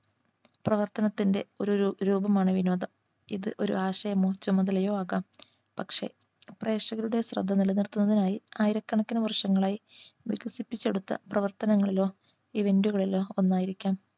പ്രവർത്തനത്തിന്റെ ഒരു രൂ രൂപമാണ് വിനോദം ഇത് ഒരു ആശയമോ ചുമതലയോ ആകാം പക്ഷേ പ്രേക്ഷകരുടെ ശ്രദ്ധ നിലനിർത്തുന്നതിനായി ആയിരക്കണക്കിന് വർഷങ്ങളായി വികസിപ്പിച്ചെടുത്ത പ്രവർത്തനങ്ങളിലോ Event കളിലോ ഒന്നായിരിക്കാം